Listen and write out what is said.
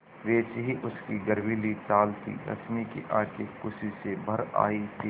वैसी ही उसकी गर्वीली चाल थी रश्मि की आँखें खुशी से भर आई थीं